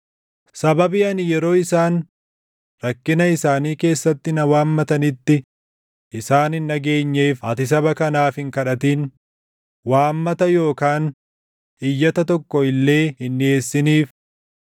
“Sababii ani yeroo isaan rakkina isaanii keessatti na waammatanitti isaan hin dhageenyeef ati saba kanaaf hin kadhatin; waammata yookaan iyyata tokko illee hin dhiʼeessiniif.